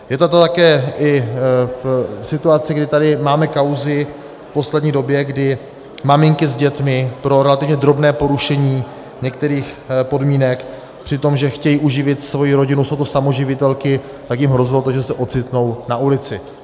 Je to tu také v situaci, kdy tady máme kauzy v poslední době, kdy maminky s dětmi pro relativně drobné porušení některých podmínek, při tom že chtějí uživit svoji rodinu, jsou to samoživitelky, tak jim hrozilo to, že se ocitnou na ulici.